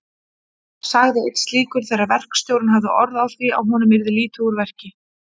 sagði einn slíkur þegar verkstjórinn hafði orð á því að honum yrði lítið úr verki.